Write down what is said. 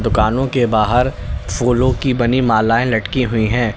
दुकानों के बाहर फूलों की बनी मालाएं लटकी हुई हैं।